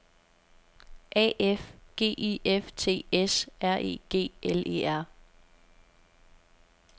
A F G I F T S R E G L E R